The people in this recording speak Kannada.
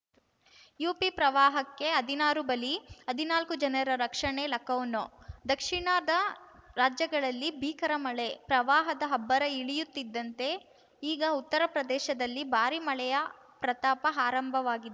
ಯುಪಿ ಪ್ರವಾಹಕ್ಕೆ ಹದಿನಾರು ಬಲಿ ಹದಿನಾಲ್ಕು ಜನರ ರಕ್ಷಣೆ ಲಖನೌ ದಕ್ಷಿಣದ ರಾಜ್ಯಗಳಲ್ಲಿ ಭೀಕರ ಮಳೆ ಪ್ರವಾಹದ ಅಬ್ಬರ ಇಳಿಯುತ್ತಿದ್ದಂತೆ ಈಗ ಉತ್ತರ ಪ್ರದೇಶದಲ್ಲಿ ಭಾರಿ ಮಳೆಯ ಪ್ರತಾಪ ಆರಂಭವಾಗಿ